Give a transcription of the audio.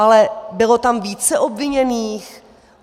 Ale bylo tam více obviněných?